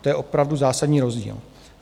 To je opravdu zásadní rozdíl.